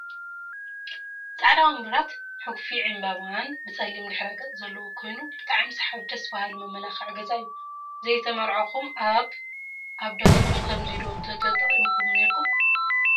ብፃዕዳ ወንበራት ሕጉፊ ዕንበባን ብፀሊም ድሕረ-ገፅ ዘለዎ ኮይኑ ብጣዕሚ ሰሓቢ ደስ ባሃሊ መመላክዒ ገዛ እዩ። ዘይተመርዐኩም ኣብ ኣብ ዳስኩም ከምዙይ ዶ ተጠጠቂምኩም ነይርኩም?